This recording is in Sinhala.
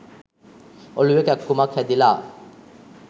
ඔලුවෙ කැක්කුමක් හැදිලා